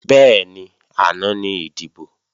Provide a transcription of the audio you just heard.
Bẹ́ẹ̀ni, àná ní ìdìbò